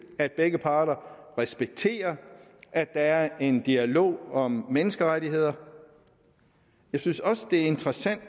at begge parter respekterer at der er en dialog om menneskerettigheder jeg synes også det er interessant